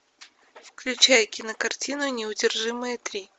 включай кинокартину неудержимые три